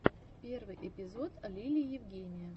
первый эпизод лили евгения